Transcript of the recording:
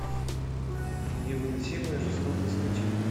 невыносимая жестокость скачай